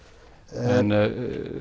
en